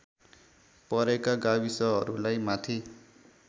परेका गाविसहरूलाई माथि